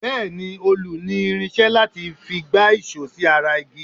Bẹ́ẹ̀ ni, òlù ní irinṣé láti fi gbá ìṣọ́ sí ara igi.